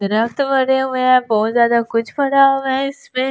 रक्त मरे हुए हैं बहुत ज्यादा कुछ पड़ा हुआ है इसमें--